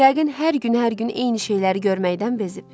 Yəqin hər gün, hər gün eyni şeyləri görməkdən bezib.